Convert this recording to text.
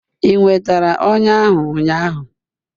Ị nwetara ọnya ahụ ụnyaahụ?